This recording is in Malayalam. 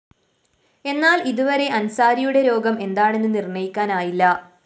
എന്നാല്‍ ഇത് വരെ അന്‍സാരിയുടെ രോഗം എന്താണെന്ന് നിര്‍ണ്ണയിക്കാനായില്ല